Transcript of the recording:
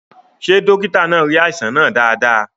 Ṣé dókítà náà rí àìsàn náà dáadáa?